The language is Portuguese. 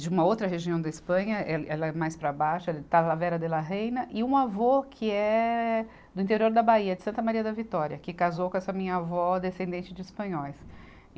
de uma outra região da Espanha, ela, ela é mais para baixo, Talavera de la Reina, e um avô que é do interior da Bahia, de Santa Maria da Vitória, que casou com essa minha avó descendente de espanhóis. e